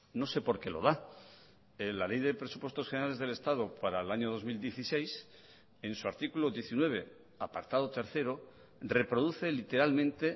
no sé por qué lo da la ley de presupuestos generales del estado para el año dos mil dieciséis en su artículo diecinueve apartado tercero reproduce literalmente